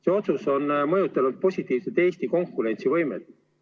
See otsus on mõjutanud positiivselt Eesti konkurentsivõimet.